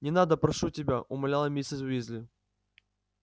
не надо прошу тебя умоляла миссис уизли